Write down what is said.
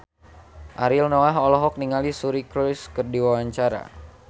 Ariel Noah olohok ningali Suri Cruise keur diwawancara